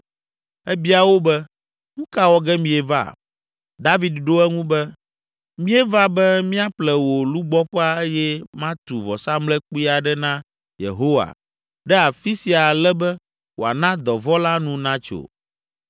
Ebia wo be, “Nu ka wɔ ge mieva?” David ɖo eŋu be, “Míeva be míaƒle wò lugbɔƒea eye matu vɔsamlekpui aɖe na Yehowa ɖe afi sia ale be wòana dɔvɔ̃ la nu natso.”